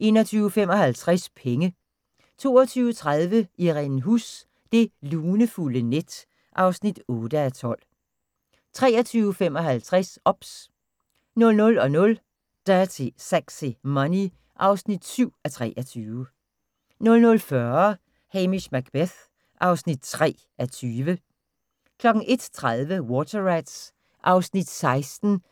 21:55: Penge 22:30: Irene Huss: Det lunefulde net (8:12) 23:55: OBS 00:00: Dirty Sexy Money (7:23) 00:40: Hamish Macbeth (3:20) 01:30: Water Rats (16:177)